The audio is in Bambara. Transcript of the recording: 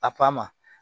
A pan ma